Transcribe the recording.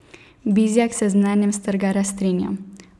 Bizjak se z mnenjem Strgarja strinja.